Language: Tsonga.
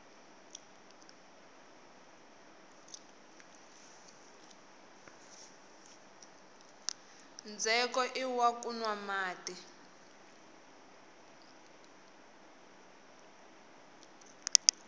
ndzheko iwa ku nwa mati